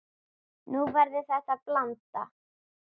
Nú verður þetta blanda.